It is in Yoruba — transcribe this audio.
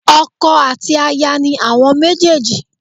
Ọkọ àti aya ni àwọn méjèjì